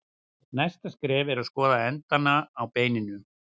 Næsta skref er að skoða endana á beininu.